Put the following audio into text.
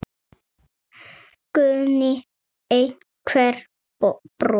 Guðný: Einhver brot?